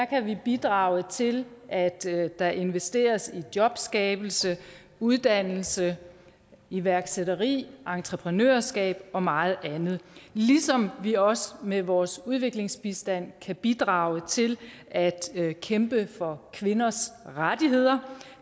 kan vi bidrage til at der investeres i jobskabelse og uddannelse og iværksætteri og entreprenørskab og meget andet ligesom vi også med vores udviklingsbistand kan bidrage til at kæmpe for kvinders rettigheder